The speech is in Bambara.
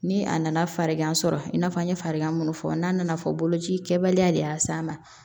Ni a nana farigan sɔrɔ i n'a fɔ an ye farigan minnu fɔ n'a nana fɔ boloci kɛbaliya de y'a s'a ma